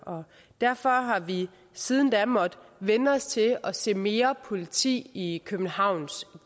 derfor har vi siden da måttet vænne os til at se mere politi i københavns